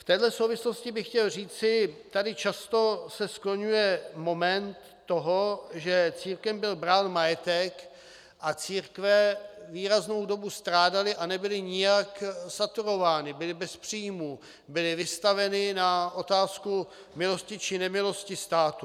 V této souvislosti bych chtěl říci, tady často se skloňuje moment toho, že církvím byl brán majetek a církve výraznou dobu strádaly a nebyly nijak saturovány, byly bez příjmů, byly vystaveny na otázku milosti či nemilosti státu.